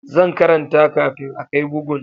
Zan karanta kafin a kai bugun